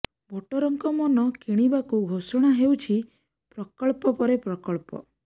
ଭୋଟରଙ୍କ ମନ କିଣିବାକୁ ଘୋଷଣା ହେଉଛି ପ୍ରକଳ୍ପ ପରେ ପ୍ରକଳ୍ପ